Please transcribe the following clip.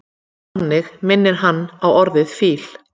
þannig minnir hann á orðið fíll